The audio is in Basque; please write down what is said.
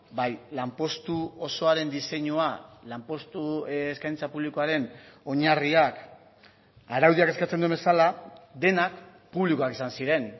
bai lanpostu osoaren diseinua lanpostu eskaintza publikoaren oinarriak araudiak eskatzen duen bezala denak publikoak izan ziren